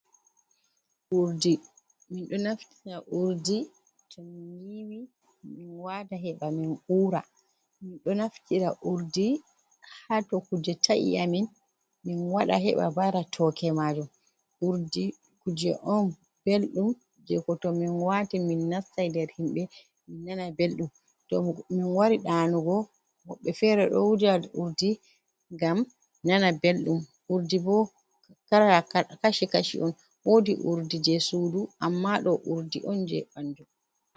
Urdi ɗo naftira urdi to min wata heɓa min ura, min ɗo naftira urdi haa to kuje ta’i amin. Min waɗa heɓa bara tooke maajum. Urdi kuje on belɗum jey ko to min waati min nastay nder himɓe ,min nana belɗum to min wari ɗanugo woɓɓe feere ɗo wuja urdi ngam nana belɗum. Urdi bo kashi kashi on woodi urdi jey suudu ammaa ɗo urdi on jey ɓanndu.